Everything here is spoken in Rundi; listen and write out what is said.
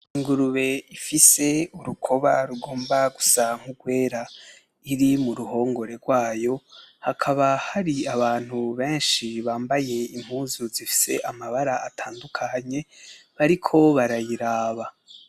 Ingurube ifise urukoba rugomba gusa nkurwera, iri muruhongore rwayo hakaba hari abantu benshi bambaye impuzu zifise amabara atandukanye bariko barayiraba.